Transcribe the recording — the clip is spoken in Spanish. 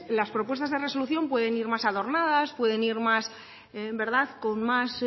las respuestas de resolución pueden ir más adornadas pueden ir más con más